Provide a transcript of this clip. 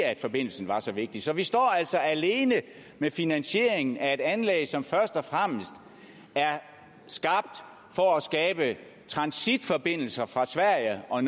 at forbindelsen er så vigtig så vi står altså alene med finansieringen af et anlæg som først og fremmest er skabt for at skabe transitforbindelser fra sverige og